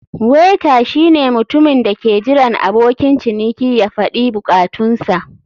Waiter shine mutumin da ke jiran abokin ciniki ya faɗi bukatunsa.